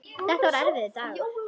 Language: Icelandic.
Þetta var erfiður dagur.